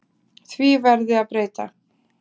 Því verði að breyta.